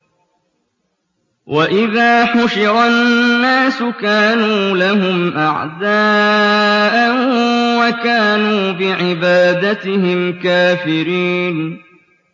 وَإِذَا حُشِرَ النَّاسُ كَانُوا لَهُمْ أَعْدَاءً وَكَانُوا بِعِبَادَتِهِمْ كَافِرِينَ